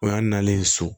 O y'a nalen so